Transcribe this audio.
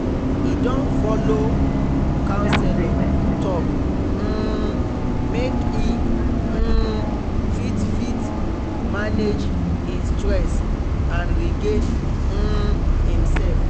he don follow counselor talk um make e um fit fit manage e stress and regain um himself